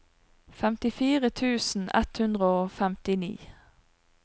femtifire tusen ett hundre og femtini